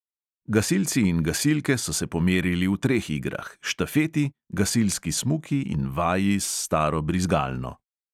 Gasilci in gasilke so se pomerili v treh igrah: štafeti, gasilski smuki in vaji s staro brizgalno.